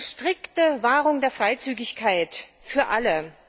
Es geht um die strikte Wahrung der Freizügigkeit für alle.